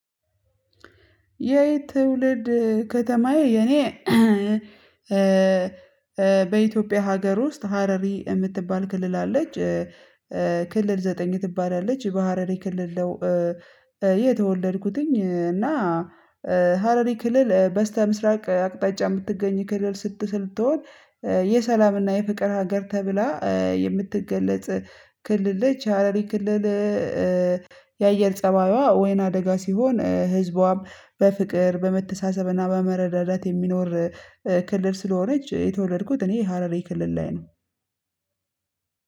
የትውልድ ከተማዬ የኔ በኢትዮጵያ ሀገር ውስጥ ሀረሪ እምትባል ክልል አለች ክልል ዘጠኝ ትባላለች በሀረሪ ክልል ነው። የተወለድኩትኝ እና ሀረሪ የክልል በስተምስራቅ አቅጣጫ የምትገኝ ክልል ስትል ስትሆን የሰላምና የፍቅር ሀገር ተብላ የምትገለጽ ክልል ነች። ሀረሪ ክልል የአየር ጸባይዋ ወይናደጋ ሲሆን ህዝቧም በፍቅር በመተሳሰብና በመረዳዳት የሚኖር ክልል ስለሆነች የተወለድኩት እኔ ሀረር ክልል ላይ ነው።